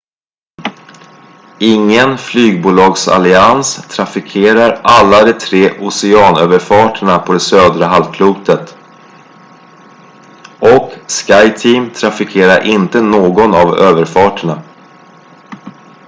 ingen flygbolagsallians trafikerar alla de tre oceanöverfarterna på det södra halvklotet och skyteam trafikerar inte någon av överfarterna